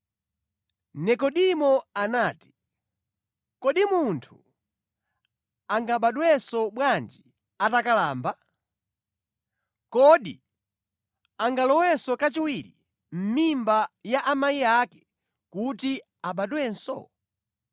Nekodimo anati, “Kodi munthu angabadwenso bwanji atakalamba? Kodi angalowe kachiwiri mʼmimba ya amayi ake kuti abadwenso?”